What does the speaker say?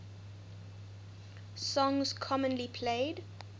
songs commonly played